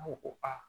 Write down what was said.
ko ko aa